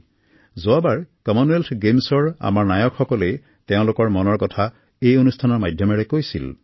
যোৱাবাৰৰ মন কী বাতত কমনৱেলথ গেমছৰ আমাৰ নায়কসকলে তেওঁলোকৰ মন কী বাত আমাৰ সৈতে বিনিময় কৰিছিল